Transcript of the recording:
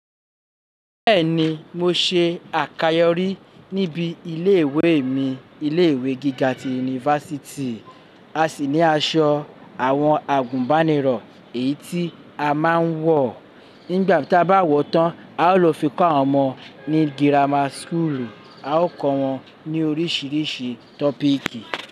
Bẹ́ẹ̀ni, mo ṣe àkàyọ́ rí níbi ilé ìwé mi, ilé ìwé gíga ti yunifásítì. A sì ní aṣọ àwọn àgùnbánirọ̀ èyí tí a máa ń wọ̀. Nígbà ta bá wọ̀ tán, a ó lo fi kọ́ àwọn ọmọ ní girama súkùùlù, a ó kọ́ wọn ní oríṣiríṣi tọ́píkì.